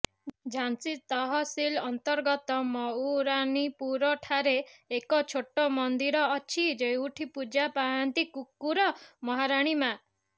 ଝାନ୍ସୀ ତହସିଲ ଅନ୍ତର୍ଗତ ମଉରାନୀପୁରଠାରେ ଏକ ଛୋଟ ମନ୍ଦିର ଅଛି ଯେଉଁଠି ପୂଜା ପାଆନ୍ତି କୁକୁର ମହରାଣୀ ମାଆ